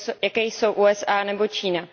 jakými jsou USA nebo Čína.